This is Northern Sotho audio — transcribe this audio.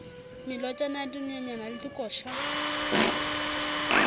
melotšana ya dinonyane le dikoša